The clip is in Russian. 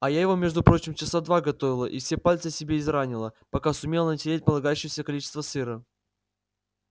а я его между прочим часа два готовила и все пальцы себе изранила пока сумела натереть полагающееся количество сыра